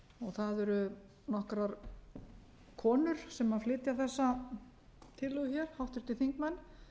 það eru nokkrar konur sem flytja þessa tillögu hér háttvirtir þingmenn